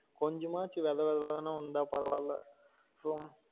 கொஞ்சமாச்சு வேத வேத வேதனு வந்தா பரவாயில்ல ரொம்ப